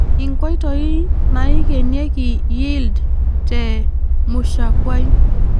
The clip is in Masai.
inkoitoi naaikenieki yield te mushakuai.